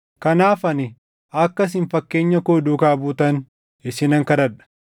Kanaaf ani akka isin fakkeenya koo duukaa buutan isinan kadhadha.